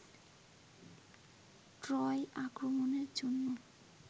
Troy আক্রমণের জন্য